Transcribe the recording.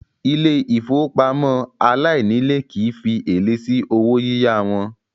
Ilé ìfowópamọ́ aláìnílèé kìí fi èlé sí owó yíyá wọn.